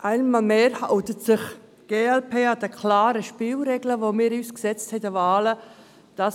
Einmal mehr hält sich die glp an die klaren Spielregeln, die wir uns für die Wahlen gesetzt haben.